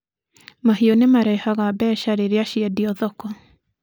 Mahiũ nĩ marehaga mbeca rĩrĩa ciendio thoko.